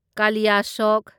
ꯀꯥꯂꯤꯌꯥꯁꯣꯠ